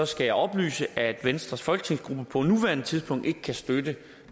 skal jeg oplyse at venstres folketingsgruppe på nuværende tidspunkt ikke kan støtte